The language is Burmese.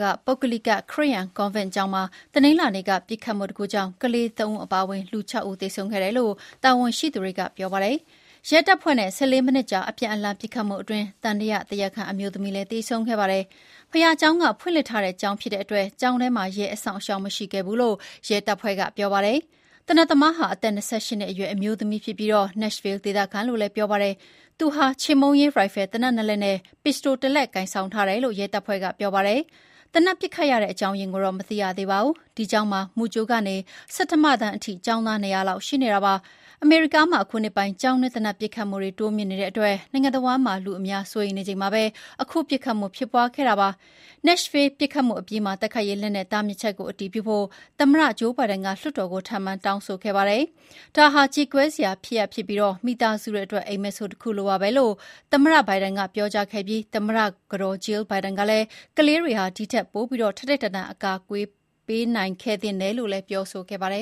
က ပုဂ္ဂလိက ခရစ်ယာန်ကွန်ဗင့် ကျောင်းမှာ တနင်္လာနေ့က ပစ်ခတ်မှုဖြစ်ပွားခဲ့လို့ လူ ၆ ဦး သေဆုံးခဲ့ပြီးအဲထဲမှာ ကလေးသုံးဦးပါဝင်တယ်လို့ တာဝန်ရှိသူတွေက ပြောပါတယ်။ ရဲတပ်ဖွဲ့နဲ့ ၁၄ မိနစ်ကြာ အပြန်အလှန်ပစ်ခတ်မှုအတွင်း သံသယတရားခံ အမျိုးသမီးလည်းသေဆုံးခဲ့ပါတယ်။ ဘုရားကျောင်းက ဖွင့်လှစ်ထားတဲ့ကျောင်းဖြစ်လို့ ကျောင်းထဲမှာ ရဲအစောင့်အရှောက်မရှိခဲ့ဘူးလို့ ရဲတပ်ဖွဲ့က ပြောပါတယ်။ သေနတ်သမားသမားဟာ အသက် ၂၈ နှစ်အရွယ်ရှိပြီး Nashville ဒေသခံလို့ ပြောပါတယ်။ သူဟာ ချေမှုန်းရေး ရိုင်ဖယ်သေနတ်နှစ်လက်နဲ့ ပစ္စတိုတစ်လက် ကိုင်ဆောင်ထားတယ်လို့ ရဲတပ်ဖွဲ့ကပြောပါတယ်။ သေနတ်ပစ်ခတ်ရတဲ့အကြောင်းအရင်းကိုတော့ မသိရသေးပါဘူး။ ဒီကျောင်းမှာ မူကြိုကနေ ဆဋ္ဌမတန်းအထိ ကျောင်းသား ၂၀၀ လောက် ရှိနေတာပါ။ အမေရိကားမှာ အခုနှစ်ပိုင်း ကျောင်းတွင်း သေနတ်ပစ်ခတ်မှုတွေ တိုးမြင့်နေလို့ နိုင်ငံတဝှမ်းမှာ လူအများ စိုးရိမ်နေချိန်မှာ အခု ပစ်ခတ်မှုဖြစ်ခဲ့တာဖြစ်ပါတယ်။ Nashville ပစ်ခတ်မှုအပြီးမှာ တိုက်ခိုက်ရေး လက်နက်တားမြစ်ချက်ကို အတည်ပြုဖို့ သမ္မတဂျိုးဘိုင်ဒန်က လွှတ်တော်ကို ထပ်မံတောင်းဆိုခဲ့ပါတယ်။ "ဒါဟာ ကြေကွဲစရာဖြစ်ပြီး မိသားစုတွေအတွက် အိပ်မက်ဆိုးတခုလိုပါပဲ" လို့ သမ္မတဘိုင်ဒန်ကပြောခဲ့ပြီး သမ္မတကတော်ကလည်း ကလေးတွေဟာ ဒီထက်ပို ထိုက်ထိုက်တန်တန် အကာအကွယ်ပေးနိုင်ခဲ့သင့်တယ်လို့ ပြောခဲ့ပါတယ